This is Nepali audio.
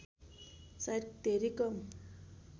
सायद धेरै कम